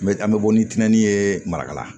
N bɛ an bɛ bɔ ni tiɲɛni ye marakala